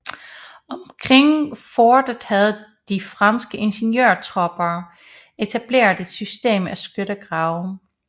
Omkring fortet havde de franske ingeniørtropper etableret et system af skyttegrave